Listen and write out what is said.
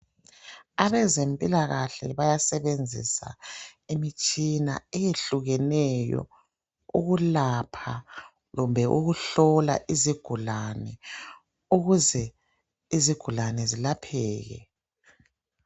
Abezempilakahle bayasebenzisa imitshina eyehlukeneyo ukulapha kumbe ukuhlola izigulani ukuze izigulane zilapheke.